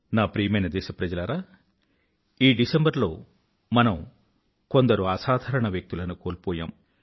నా ప్రియమైన దేశప్రజలారా ఈ డిసెంబరు లో మనం కొందరు అసాధారణ వ్యక్తులను కోల్పోయాం